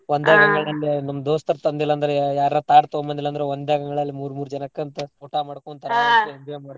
ನಮ್ ದೋಸ್ತರ್ ತಂದಿಲ್ ಅಂದ್ರೆ ಯಾರರ ತಾಟ್ ತೋಂಬಂದಿಲ್ಲಂದ್ರೆ ಒಂದೆಂಗಳಲ್ಲಿ ಮೂರ್ ಮೂರ್ ಜನ ಕುಂತ್ ಊಟ ಮಾಡ್ಕೊಂತ್ತಾರೆ ಮಾಡ್ತಿದ್ವಿ.